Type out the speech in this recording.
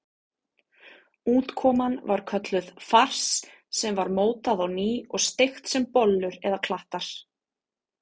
Útkoman var kölluð fars sem var mótað á ný og steikt sem bollur eða klattar.